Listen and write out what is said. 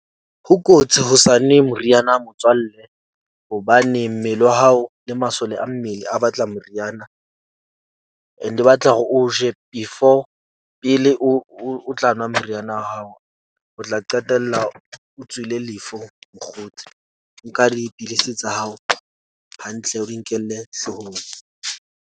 Ho kotsi ho sa nwe moriana motswalle hobane mmele wa hao le masole a mmele a batla moriana. And e batla hore o je before pele o o tla nwa meriana wa hao, o tla qetella o tswile lefu mokgotsi. Nka dipidisi tsa hao hantle, o di nkelle hloohong.